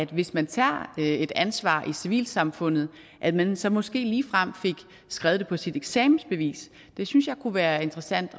hvis man tager et ansvar i civilsamfundet at man så måske ligefrem fik skrevet det på sit eksamensbevis det synes jeg kunne være interessant